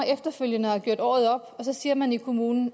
efterfølgende har gjort året op så siger man i kommunen